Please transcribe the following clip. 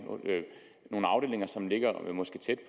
afdelinger som det